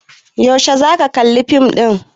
Yaushe za ka kalli fim ɗin?